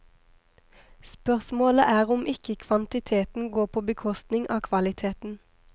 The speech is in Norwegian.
Spørsmålet er om ikke kvantiteten går på bekostning av kvaliteten.